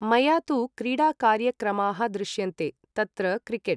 मया तु क्रीडाकार्यक्रमाः दृश्यन्ते तत्र क्रिकेट् ।